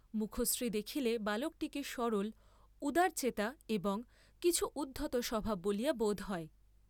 মুখশ্রী দেখিলে বালকটিকে সরল উদারচেতা, এবং কিছু উদ্ধতস্বভাব বলিয়া বোধ হয়।